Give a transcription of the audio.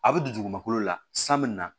A bɛ don dugumakolo la san bɛ na